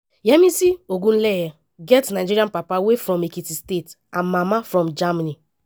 yemisi ogunleye get nigerian papa wey from ekiti state and mama from germany.